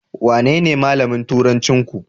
Wanene malamin turancinku?